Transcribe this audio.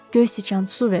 Göy siçan, su ver.